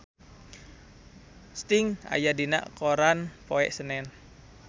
Sting aya dina koran poe Senen